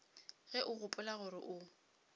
ge o gopola gore o